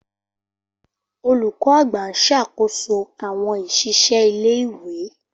Olùkó àgbà ń ṣàkóso àwon iṣisẹ ilé ìwé